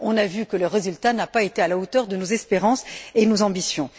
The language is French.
On a vu que le résultat n'a pas été à la hauteur de nos espérances et de nos ambitions.